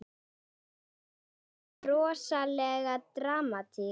Fáum við rosalega dramatík?